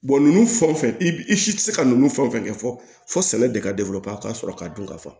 nunnu fɛn wo fɛn i bi i si tɛ se ka nunnu fɛn fɛn kɛ fɔ sɛnɛ de ka ka sɔrɔ k'a dɔn ka fɔ